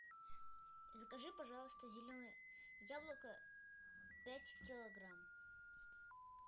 закажи пожалуйста зеленое яблоко пять килограмм